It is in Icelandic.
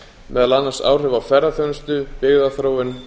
meðal annars áhrif á ferðaþjónustu byggðaþróun